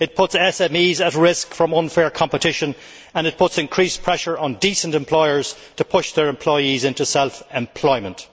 It puts SMEs at risk from unfair competition, and it puts increased pressure on decent employers to push their employees into self employment.